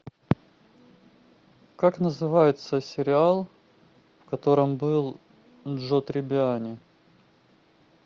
как называется сериал в котором был джоуи триббиани